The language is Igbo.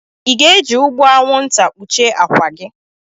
Ị ga-eji ụgbụ anwụnta kpuchie akwa gị?